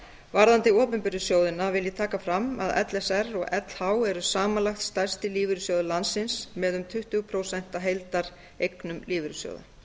varðandi opinberu sjóðina vil ég taka fram að l s r og lh eru samanlagt stærstu lífeyrissjóðir landsins með um tuttugu prósent af heildareignum lífeyrissjóða